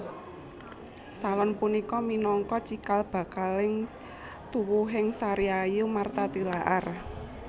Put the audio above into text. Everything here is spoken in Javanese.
Salon punika minangka cikal bakaling tuwuhing Sariayu Martha Tilaar